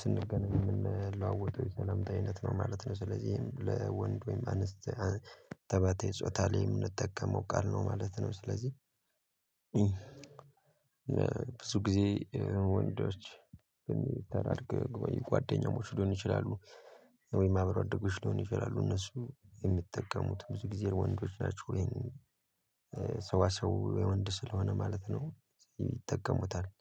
ስንገናኝ የምንለዋወጠው የሰላምታ አይነት ነው ማለት ነው። ስለዚህ ለወንድ ወይም አንስ ተባታይ ጾታ ላይ የምንጠቀመው ቃል ነው ማለት ነው። ስለዚህ- ብዙ ጊዜ ወንዶች ተራርቀው የቆዩ ጓደኛሞች ሊሆን ይችላሉ ወይም አብሮ አደጎች ሊሆን ይችላሉ። እነሱ የሚጠቀሙት ብዙ ጊዜ ወንዶች ናቸው። የሰዋሰው የወንድ ስለሆነ ማለት ነው ይጠቀሙታል።